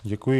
Děkuji.